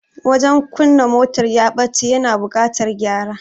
Wajen kunna motar ya bace, ya na buƙatar gyara